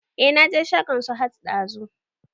E na je shagon Sahad ɗazu